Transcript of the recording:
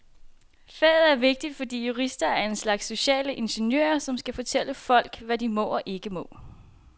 Faget er vigtigt, fordi jurister er en slags sociale ingeniører, som skal fortælle folk, hvad de må og ikke må.